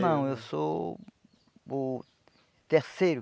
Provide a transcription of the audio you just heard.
Não, eu sou o terceiro.